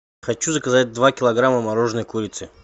хочу заказать два килограмма мороженной курицы